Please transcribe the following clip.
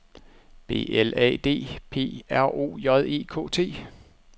B L A D P R O J E K T